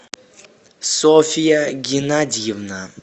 софья геннадьевна